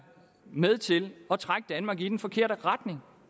med til at trække danmark i den forkerte retning